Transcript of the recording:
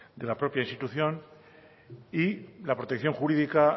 de la propia institución y la protección jurídica